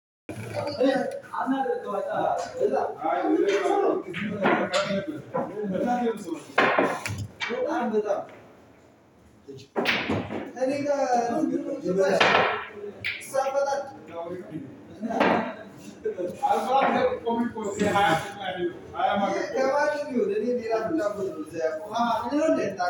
አምናለሁ። አይደለም በጣም በጣም እኔ እሳት ፈጣሪ። አዋርድ እኮ እኮ እኮ እኮ። አያማክርም ገባህ ቢሆን እኔ ሌላ ብላ አምኖትም እዛ ያው አምኖትም